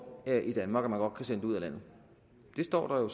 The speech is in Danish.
her i danmark og at kan sende det ud af landet det står der